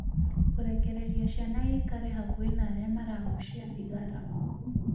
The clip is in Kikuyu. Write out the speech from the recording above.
Kũrekereria ciana ikare hakuhĩ na arĩa maragucia thigara